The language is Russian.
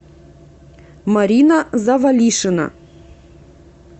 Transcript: марина завалишина